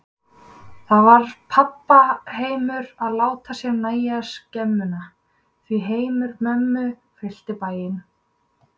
Þá varð pabba heimur að láta sér nægja skemmuna, því heimur mömmu fyllti bæinn.